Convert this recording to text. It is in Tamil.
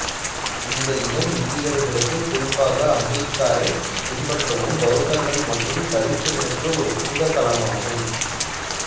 இந்த இடம் இந்தியர்களுக்கு குறிப்பாக அம்பேத்கரை பின்பற்றும் பௌத்தர்கள் மற்றும் தலித்துகளுக்கு ஒரு புனிதத் தலமாகும்